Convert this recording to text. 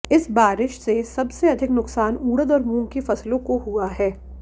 इस बारिश से सब से अधिक नुकसान उड़द और मूंग की फसलों को हुआ हैं